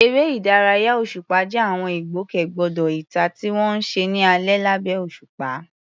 Eré ìdárayá òṣùpá jẹ́ àwọn ìgbòkègbodò ìta tí wọ́n ń ṣe ní alẹ́ lábẹ́ òṣùpá.